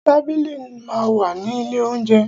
Tábìlì máa ń wà ní ilé óunjẹ.